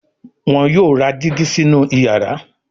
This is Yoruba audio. wón yóò rà Dígí sínú iyàrá.